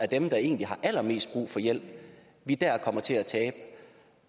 dem der egentlig har allermest brug for hjælp vi kommer til at tabe